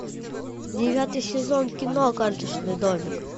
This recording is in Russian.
девятый сезон кино карточный домик